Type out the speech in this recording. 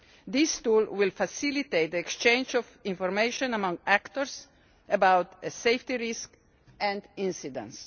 This tool will facilitate the exchange of information among actors about safety risk and incidents.